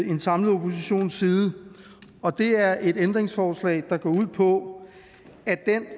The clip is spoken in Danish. en samlet oppositions side og det er et ændringsforslag der går ud på at den